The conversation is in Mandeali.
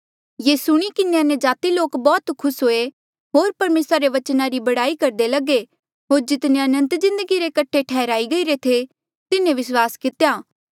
ये सुणी किन्हें अन्यजाति लोक बौह्त खुस हुए होर परमेसरा रे बचना री बड़ाई करदे लगे होर जितने अनंत जिन्दगी रे कठे ठैहराई गईरे थे तिन्हें विस्वास कितेया